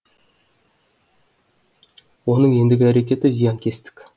оның ендігі әрекеті зиянкестік